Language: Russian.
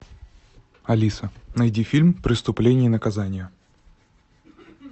алиса найди фильм преступление и наказание